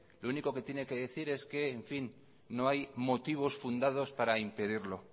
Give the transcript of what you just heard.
lo único que tiene que decir es que en fin no hay motivos fundados para impedirlo